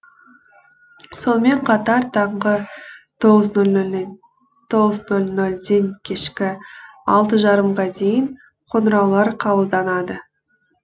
сонымен қатар таңғы тоғыз нөл нөлден кешкі алты жарымға дейін қоңыраулар қабылданады